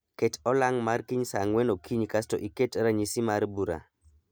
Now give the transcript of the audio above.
Ket olang' mar kiny saa ang'wen okinyi kasto iket ranyisi mar bura.